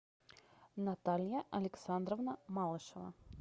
наталья александровна малышева